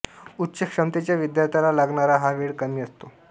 उच्च क्षमतेच्या विद्यार्थ्याला लागणारा हा वेळ कमी असतो